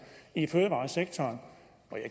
i fødevaresektoren